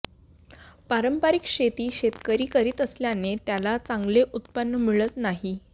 पारंपरिक शेती शेतकरी करीत असल्याने त्याला चांगले उत्पन्न मिळत नाही